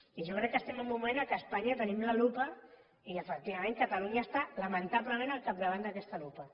i jo crec que estem en un moment en què a espanya tenim la lupa i efectivament catalunya està lamentablement al capdavant d’aquesta lupa